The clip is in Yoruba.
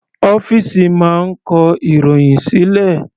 Ọ́fìsì máa ń kọ ìròhìn sílẹ̀.